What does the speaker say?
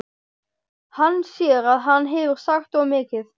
Hann sér að hann hefur sagt of mikið.